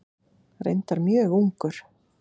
Reyndar mjög ungur.